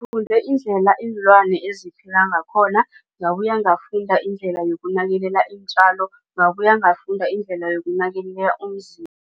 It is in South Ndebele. iinlwana eziphila ngakhona ngabuya ngafunda indlela yokunakelela iintjalo. Ngabuye ngafunda indlela yokunakelela